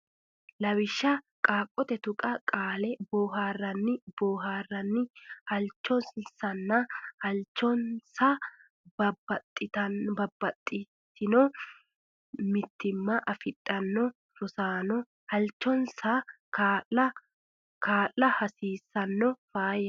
Lawishsha Qoonqote Tuqqo Qaale boo haar ran ni boohaarranni hal chon san na halchonsanna Babbaxxitino mitiimma afidhino rosaano hal chon san na kaa la hasiissanno Faayyaho !